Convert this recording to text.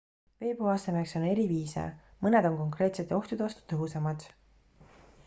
vee puhastamiseks on eri viise mõned on konkreetsete ohtude vastu tõhusamad